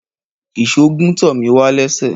Ìsó gún tọmíwà lẹsẹ